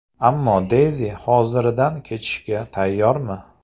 Ammo Deyzi hoziridan kechishga tayyormi?